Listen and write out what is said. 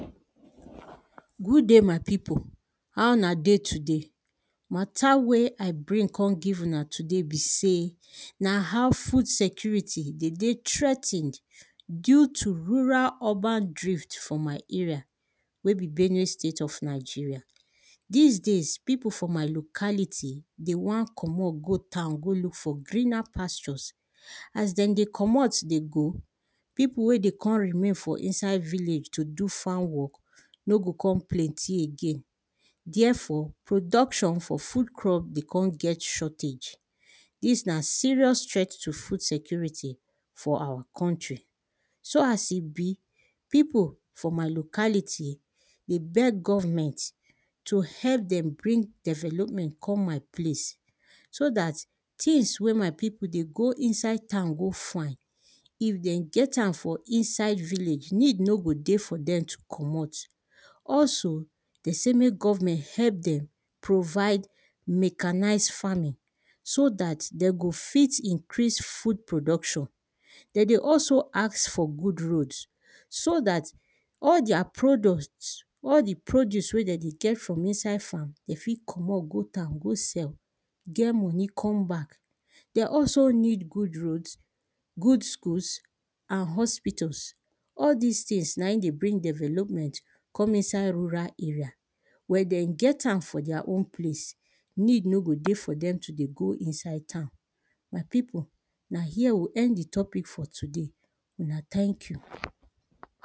Good day, my pipu how una dey today? Matter wey I bring come give una today be sey, na how food security de dey threa ten ed due to rural-urban drift for my area wey be benue state of Nigeria. Dis days, pipo for my locality dey wan comot go town go look for greener pastures as den dey comot dey go, pipo wey dey con remain inside village to do farm work no go con plenty again. Therefore, production for food crop dey con get shortage, dis na serious threat to food security for awa country, so as e be pipo for my locality dey beg government to help dem bring development come deir place, so dat things wey my pipo dey go inside town go find, if dem get am for inside village, need no go dey for dem to comot, also de sey mek government help dem provide mechanised farming, so dat de go fit improve food production. De dey also ask for good roads, so dat all deir products, all di produce wey de dey get from inside farm, de fit comot go town go sell get money come back. De also, need good roads, good schools and hospitals, all dis things na in dey bring development come inside rural area. When de get am for deir own place, need no do dey for dem to dey go inside town. My pipo na here we o end di topic for today, una thank you.